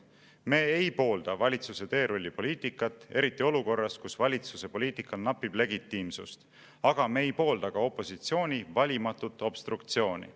Me ei poolda valitsuse teerullipoliitikat – eriti olukorras, kus valitsuse poliitikal napib legitiimsust –, aga me ei poolda ka opositsiooni valimatut obstruktsiooni.